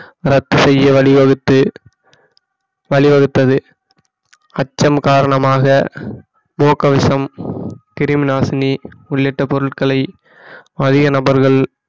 ரத்து செய்ய வழிவகுத்து வழிவகுத்தது அச்சம் காரணமாக முகக்கவசம் கிருமிநாசினி உள்ளிட்ட பொருட்களை அதிக நபர்கள்